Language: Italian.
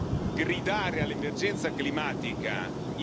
in generale può avere per alcuni un senso.